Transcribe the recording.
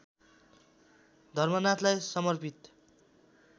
धर्मनाथलाई समर्पित